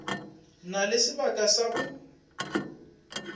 na le sebaka sa go